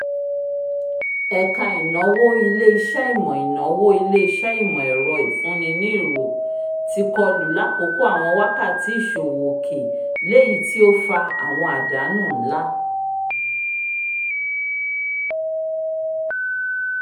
ẹka ìnáwó ilé-iṣẹ́ ìmọ ìnáwó ilé-iṣẹ́ ìmọ ẹrọ ìfun ní nì irò ti kọlu l'akoko àwọn wákàtí ìṣòwò òkè l'eyi ti o fà àwọn àdánù nlá